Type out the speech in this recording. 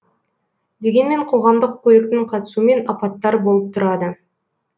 дегенмен қоғамдық көліктің қатысуымен апаттар болып тұрады